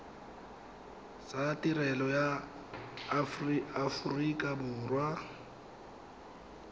tsa tirelo ya aforika borwa